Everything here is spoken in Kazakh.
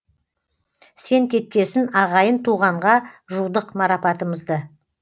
сен кеткесін ағайын туғанға жудық марапатымызды